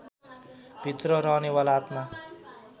भित्र रहनेवाला आत्मा